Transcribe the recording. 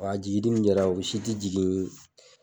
Wa a jigili min kɛra o si tɛ jigin